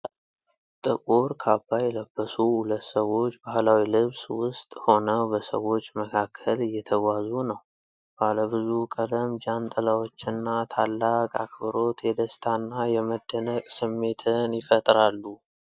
ጥቁር ካባ የለበሱ ሁለት ሰዎች ባህላዊ ልብስ ውስጥ ሆነው በሰዎች መካከል እየተጓዙ ነው። ባለ ብዙ ቀለም ጃንጥላዎችና ታላቅ አክብሮት የደስታና የመደነቅ ስሜትን ይፈጥራሉ።